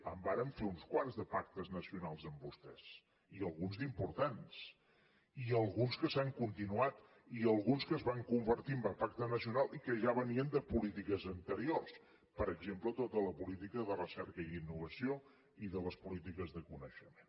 en vàrem fer uns quants de pactes nacionals amb vostès i alguns d’importants i alguns que s’han continuat i alguns que es van convertir en pacte nacional i que ja venien de polítiques anteriors per exemple tota la política de recerca i d’innovació i de les polítiques de coneixement